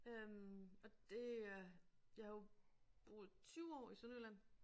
Øh og det øh jeg har jo boet 20 år i Sønderjylland